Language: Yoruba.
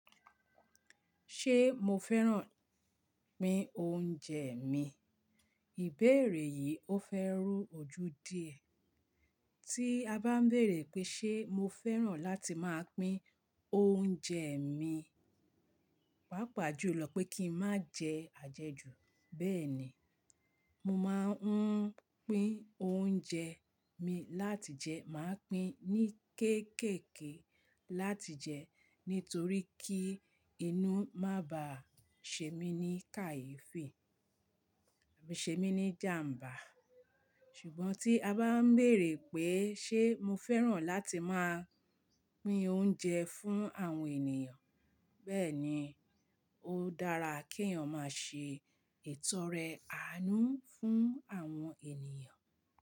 Ṣé mo fẹ́ràn pín oúnjẹ mi? Ìbéèrè yìí ó fẹ́ rú ojú díẹ̀. Tí a bá ń bèrè pé ṣe mo fẹ́ràn láti máa pín oúnjẹ mi, pàápàá jùlọ pé kí n máa jẹ àjẹjù. Bẹ́ẹ̀ ni, mo máa ń pín oúnjẹ mi láti jẹ, màá pín ní kéékèèké láti jẹ nítorí kí inú má ba ṣe mí ní kàyéfì, ṣe mí ní jàmbá. Ṣùgbọ́n tí a bá ń bèrè pé ṣe mo fẹ́ràn láti máa pín oúnjẹ fún àwọn ènìyàn, bẹ́ẹ̀ ni, ó dára kí èèyàn máa ṣe ìtọrẹ àánú fún àwọn ènìyàn.